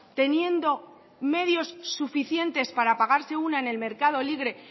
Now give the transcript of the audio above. teniendo medios suficientes para pagarse una en el mercado libre